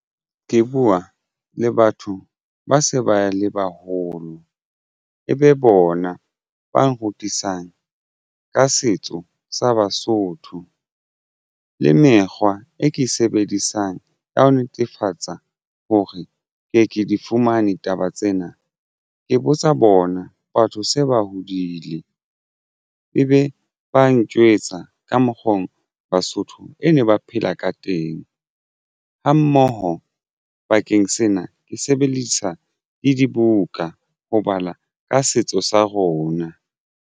Ke buwa le batho ba se ba le baholo e be bona ba nrutisang ka setso sa Basotho le mekgwa e ke sebedisang ya ho netefatsa hore ke ye ke di fumane taba tsena ke botsa bona batho se ba hodile ebe ba ntjwetsa ka mokgo Basotho e ne ba phela ka teng ha mmoho bakeng sena ke sebedisa le dibuka ho bala ka setso sa rona.